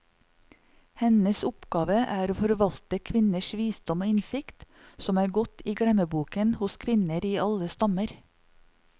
Hennes oppgave er å forvalte kvinners visdom og innsikt, som er gått i glemmeboken hos kvinnene i alle stammer.